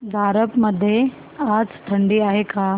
झारप मध्ये आज थंडी आहे का